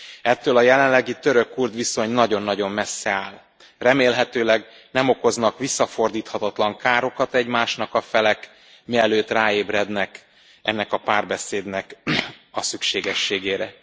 Ettől a jelenlegi török kurd viszony nagyon nagyon messze áll, remélhetőleg nem okoznak visszafordíthatatlan károkat egymásnak a felek, mielőtt ráébrednek ennek a párbeszédnek a szükségességére.